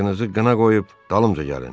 Qılıncınızı qına qoyub dalımca gəlin!